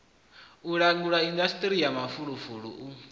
langula indasiṱiri ya mafulufulu u